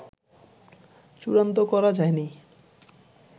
চুড়ান্ত করা যায়নি